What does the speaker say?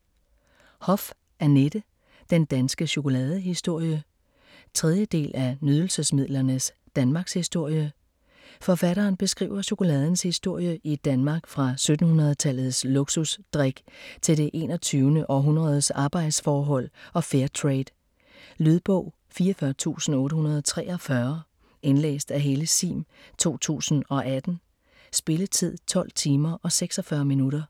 Hoff, Annette: Den danske chokoladehistorie 3. del af Nydelsesmidlernes Danmarkshistorie. Forfatteren beskriver chokoladens historie i Danmark fra 1700-tallets luksus drik til det 21. århundredes arbejdsforhold og Fairtrade. Lydbog 44843 Indlæst af Helle Sihm, 2018. Spilletid: 12 timer, 46 minutter.